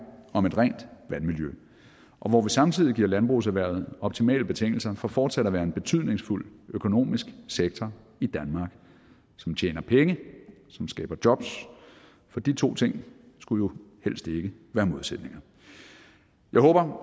om et rent vandmiljø og hvor vi samtidig giver landbrugserhvervet optimale betingelser for fortsat at være en betydningsfuld økonomisk sektor i danmark som tjener penge som skaber jobs for de to ting skulle jo helst ikke være modsætninger jeg håber